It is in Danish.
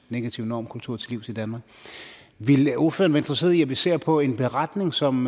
negativ normkultur til livs i danmark ville ordføreren være interesseret i at vi ser på en beretning som